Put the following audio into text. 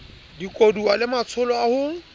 dikoduwa le matsholo a ho